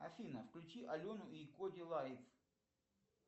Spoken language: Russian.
афина включи алену и коди лайтс